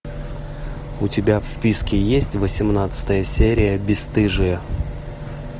у тебя в списке есть восемнадцатая серия бесстыжие